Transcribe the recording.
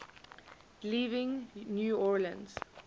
leaving new orleans